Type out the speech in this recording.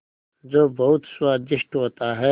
जो बहुत स्वादिष्ट होता है